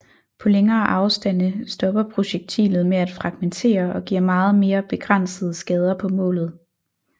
På længere afstande stopper projektilet med at fragmentere og giver meget mere begrænsede skader på målet